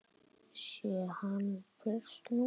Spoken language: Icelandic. Sé hann fyrst núna.